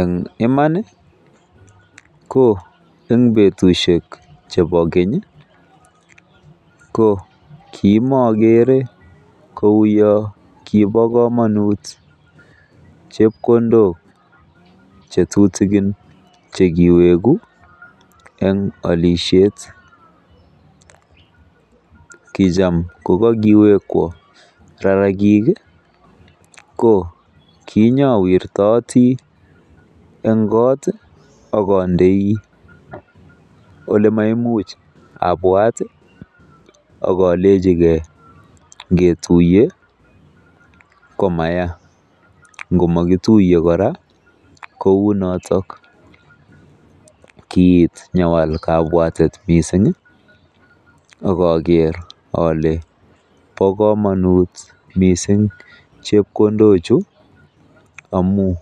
EN iman ko en betushek chebo keny ko kimokere kou yo kibo komonut chepkondok che tutikin che kiwegu en olisiet kicham kokokiwekwon rarakik ko kinyowirtoti en koot ak ondei ole maimuch abwat ak olenchi ke ngetuiye komaya ngomakituye kora kou notok. Kiit nyawal kabwatet mising ak oger ole bo komonut miisng chepkondok chu amun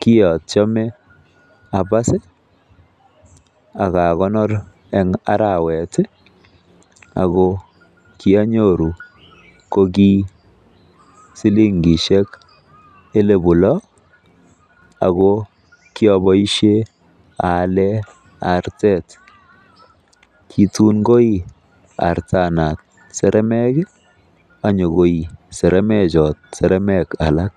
kiatyeme abas ak akonor en arawet ago kianyoru kokisilingisiek elibu lo ago kiaboisie aalen artet kitun koi artanan saremek any nyo koi saramek chin saramek alak.